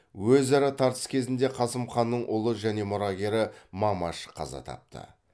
өзара тартыс кезінде қасым ханның ұлы және мұрагері мамаш қаза тапты